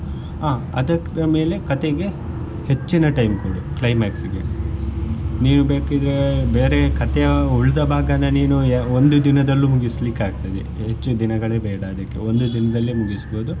ಆ ಅದಕ್ಕೆ ಮೇಲೆ ಕಥೆಗೆ ಹೆಚ್ಚಿನ time ಕೊಡು climax ಗೆ ನೀವ್ ಬೇಕಿದ್ರೆ ಬೇರೆ ಕಥೆಯ ಉಳಿದ ಭಾಗನ ನೀನು ಒಂದು ದಿನದಲ್ಲೂ ಮುಗಿಸ್ಲಿಕ್ಕಾಗ್ತದೆ ಹೆಚ್ಚು ದಿನಗಳೆ ಬೇಡ ಅದಿಕ್ಕೆ ಒಂದು ದಿನದಲ್ಲೆ ಮುಗಿಸ್ಬಹುದು.